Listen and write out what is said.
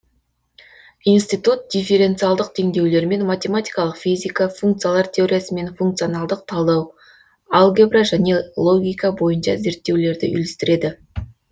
институт дифференциалдық теңдеулер мен математикалық физика функциялар теориясы мен функционалдық талдау алгебра және логика бойынша зерттеулерді үйлестіреді